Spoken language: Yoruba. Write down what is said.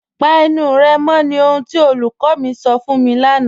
Pà ènù rẹ mọ̀ ní ohun tí olúkọ̀ mi sọ̀ fún mi lánà.